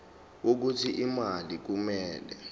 wokuthi imali kumele